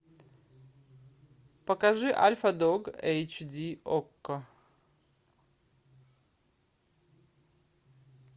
покажи альфа дог эйч ди окко